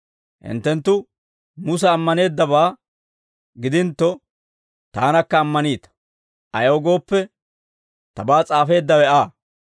Hinttenttu Musa ammaneeddabaa gidintto, taanakka ammananita; ayaw gooppe, tabaa s'aafeeddawe Aa.